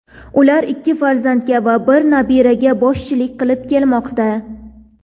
Ular ikki farzandga va bir nabiraga boshchilik qilib kelmoqda.